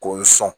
K'o sɔn